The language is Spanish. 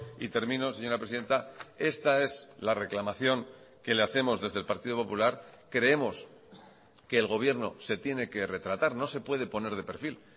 y termino señora presidenta esta es la reclamación que le hacemos desde el partido popular creemos que el gobierno se tiene que retratar no se puede poner de perfil